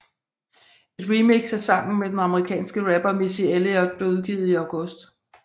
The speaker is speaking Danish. Et remix af sangen med den amerikanske rapper Missy Elliot blev udgivet i august